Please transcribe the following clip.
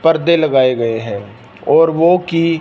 पर्दे लगाए गए हैं और वो की --